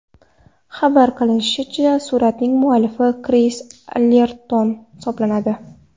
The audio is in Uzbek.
Xabar qilinishicha, suratning muallifi Kris Allerton hisoblanadi.